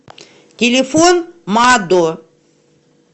телефон мадо